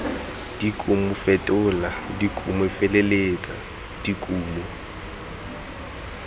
dikumo fetola dikumo feleletsa dikumo